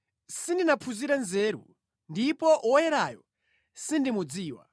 Sindinaphunzire nzeru, ndipo Woyerayo sindimudziwa.